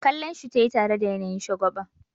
Kallonshi tayi tare da yanayin shagwaba.